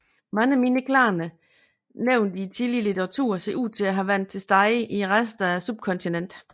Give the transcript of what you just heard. Mange mindre klaner nævnt i tidlig litteratur ser ud til at have været til stede i resten af subkontinentet